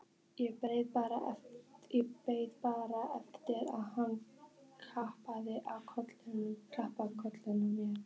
Beið bara eftir að hann klappaði á kollinn á mér.